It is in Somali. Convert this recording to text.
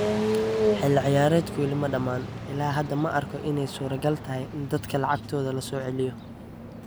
Xilli ciyaareedku weli ma dhamma, ilaa hadda, ma arko inay suuragal tahay in dadka lacagtooda la soo celiyo.